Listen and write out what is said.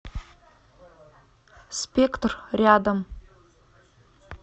спектр рядом